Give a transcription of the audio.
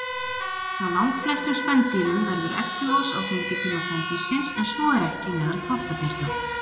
Hjá langflestum spendýrum verður egglos á fengitíma kvendýrsins, en svo er ekki meðal þvottabjarna.